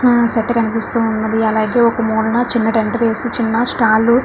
ఆ సెట్ కనిపిస్తూ ఉన్నదీ అలాగే ఒక మూలన చిన్న టెంట్ వేసి చిన్న స్టాల్ --